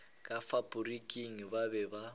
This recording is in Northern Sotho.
ka faporiking ba be ba